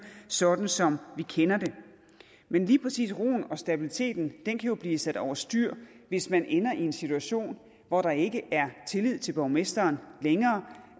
sådan som vi kender det men lige præcis roen og stabiliteten kan jo blive sat over styr hvis man ender i en situation hvor der ikke er tillid til borgmesteren længere